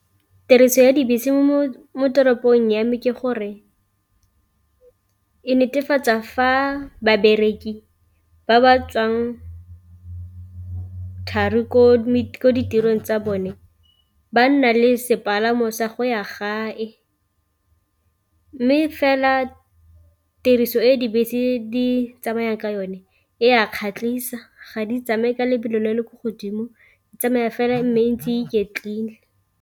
Tiriso ya dibese mo toropong ya me ke gore e netefatsa fa babereki ba ba tswang thari ko ditirong tsa bone ba nna le sepalamo sa go ya gae, mme fela tiriso e dibese di tsamaya ka yone e a kgatlhisa ga di tsamaye ka lebelo le le ko godimo di tsamaya fela mme e ntse e iketlile.